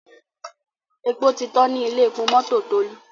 èpo tí tán ní Ilé-epo mọ́tò Tolu.